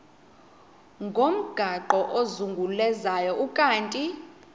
ngomgaqo ozungulezayo ukanti